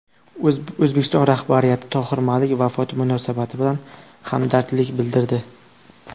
O‘zbekiston rahbariyati Tohir Malik vafoti munosabati bilan hamdardlik bildirdi.